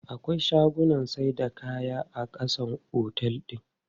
Akwai shagunnan saida kaya a ƙasan otel din.